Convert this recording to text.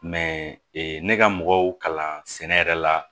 ne ka mɔgɔw kalan sɛnɛ yɛrɛ la